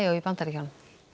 í Bandaríkjunum